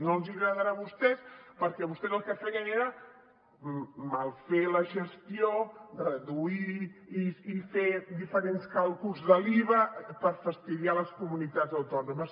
no els agradarà a vostès perquè vostès el que feien era mal fer la gestió reduir i fer diferents càlculs de l’iva per fastiguejar les comunitats autò nomes